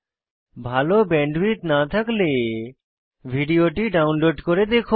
ভাল ব্যান্ডউইডথ না থাকলে ভিডিওটি ডাউনলোড করে দেখুন